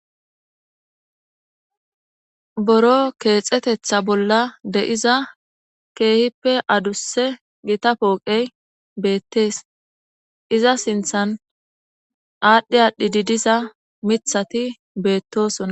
Boro keexetetha bolla de7iza keehippe adusse gita pooqey beettees iza sinthan aadhdhi aadhdhi didiza mithati beettosona.